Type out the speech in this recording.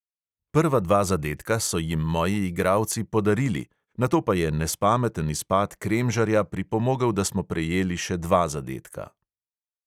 Prva dva zadetka so jim moji igralci "podarili", nato pa je nespameten izpad kremžarja pripomogel, da smo prejeli še dva zadetka.